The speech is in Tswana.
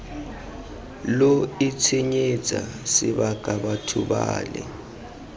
lo itshenyetsa sebaka batho bale